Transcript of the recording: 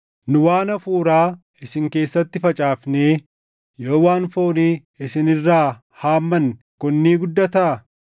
Nu waan hafuuraa isin keessatti facaafnee yoo waan foonii isin irraa haammanne kun ni guddataa?